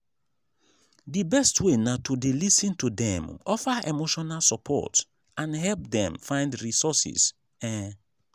di best way na to dey lis ten to dem offer emotional support and help dem find resources. um